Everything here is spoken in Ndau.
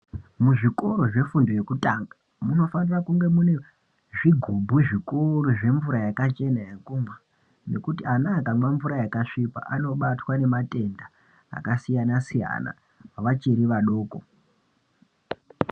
Muzvikoro zvefundo yekutanga munofane kunge mune zvigubhu zvikuru zvemvura yakachena yekumwa ngekuti ana akamwa mvura yakasviba anobatwa ngematenda akasiyana-siyana vachiri vadoko.